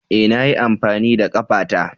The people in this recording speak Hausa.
E! Na yi amfani da ƙafata.